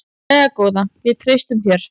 Jæja góða, við treystum þér.